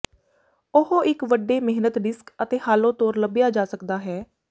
ਉਹ ਇੱਕ ਵੱਡੇ ਮੇਹਨਤ ਡਿਸਕ ਅਤੇ ਹਾਲੋ ਤੌਰ ਲੱਭਿਆ ਜਾ ਸਕਦਾ ਹੈ